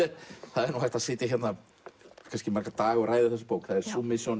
það er hægt að sitja í marga daga og ræða þessa bók